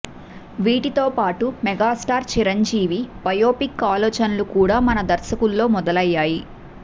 వీటితో పాటుగా megastar Chiranjeevi biopic ఆలోచనలు కూడా మన దర్శకుల్లో మొదలయ్యాయి